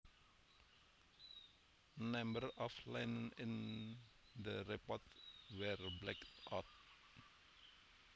A number of lines in the report were blacked out